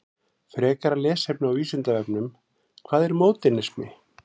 Frekara lesefni á Vísindavefnum: Hvað er módernismi?